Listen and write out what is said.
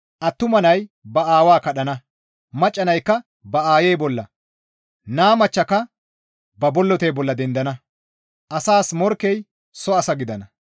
Attuma nay ba aawa kadhana; macca naykka ba aayi bolla, naa machchaka ba bollotey bolla dendana; asas morkkey soo asa gidana.